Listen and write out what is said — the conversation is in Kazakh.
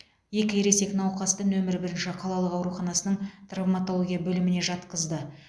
екі ересек науқасты нөмірі бірінші қалалық ауруханасының травматология бөліміне жатқызды